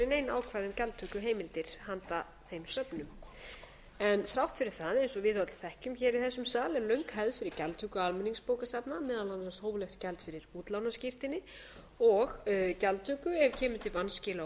ákvæði um gjaldtökuheimildir til handa þeim söfnum þrátt fyrir eins og við öll þekkjum hér í þessum sal er löng hefð hér á landi fyrir gjaldtöku almenningsbókasafna meðal annars hóflegt gjald fyrir útlánaskírteini og gjaldtöku ef kemur til vanskila á